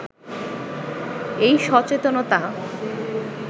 এই সচেতনতা